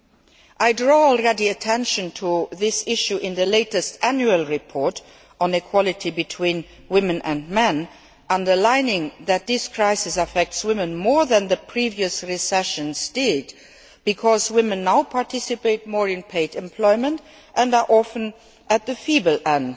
I have already drawn attention to this issue in the latest annual report on equality between women and men, underlining that this crisis affects women more than the previous recessions did because women now participate more in paid employment and are often at the weak end